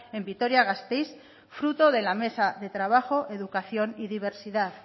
en vitoria gasteiz fruto de la mesa de trabajo educación y diversidad